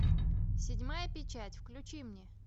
седьмая печать включи мне